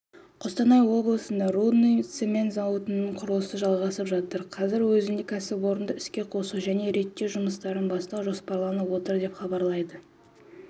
қостанай облысында рудный цемент зауытының құрылысы жалғасып жатыр қазірдің өзінде кәсіпорынды іске қосу және реттеу жұмыстарын бастау жоспарланып отыр деп хабарлайды